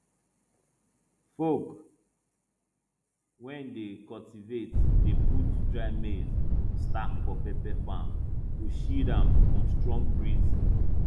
folk wey dey cultivate dey put dry maize stalk for pepper farm to shield am from strong breeze